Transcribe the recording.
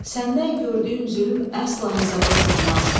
Səndən gördüyüm zülm əsla hesaba sığmaz.